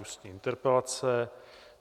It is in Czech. Ústní interpelace